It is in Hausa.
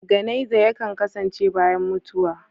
Ganaiza yankan kasance bayan mutuwa.